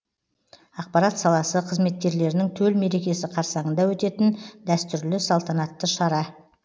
ақпарат саласы қызметкерлерінің төл мерекесі қарсаңында өтетін дәстүрлі салтанатты шара